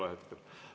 Ei ole hetkel.